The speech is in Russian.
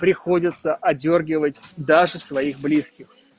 приходится одёргивать даже своих близких